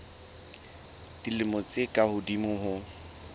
dilemo tse ka hodimo ho